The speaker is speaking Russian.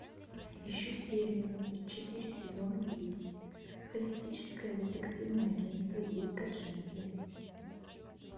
ищу серию четыре сезона десять холистическое детективное агентство дирка джентли